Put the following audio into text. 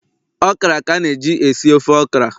okra ka na e ji-esi ofe okra